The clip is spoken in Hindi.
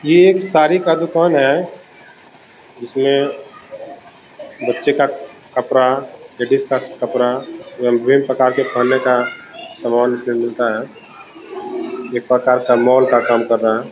ये एक साड़ी का दुकान है जिसमे बच्चे का कपड़ा लेडीज का कपड़ा एवं विभिन्न प्रकार के पहनने का सामान इसमें मिलता है| एक प्रकार का मॉल का काम कर रहा है।